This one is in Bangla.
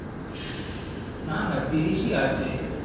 না না তিরিশই আছে